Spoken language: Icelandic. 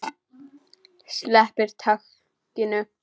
Sleppir takinu.